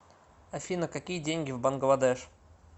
афина какие деньги в бангладеш